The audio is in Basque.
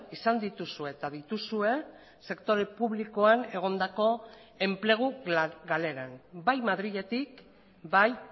izan dituzue eta dituzue sektore publikoan egondako enplegu galeran bai madriletik bai